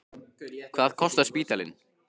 Hvað kostar spítalinn?